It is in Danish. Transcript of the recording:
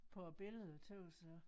På æ billede tøs jeg